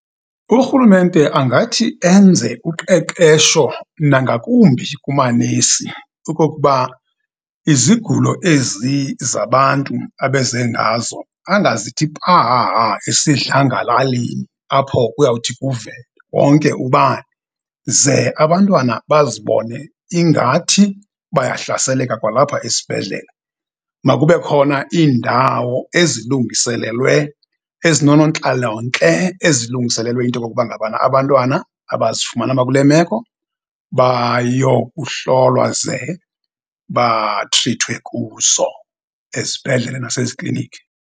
Urhulumente angathi enze uqeqesho nangakumbi kunamanesi, okokuba izigulo ezi zabantu abeze ngazo angazithi pahaha esidlangalaleni, apho kuyawuthi kuve wonke ubani, ze abantwana bazibone ingathi bayahlaseleka kwalapha esibhedlele. Makube khona iindawo ezilungiselelwe ezinonoontlalontle, ezilungiselelwe into yokokuba ngabana abantwana abazifumana bakule meko, bayokuhlolwa ze batrithwe kuzo, ezibhedlele naseziklinikhi.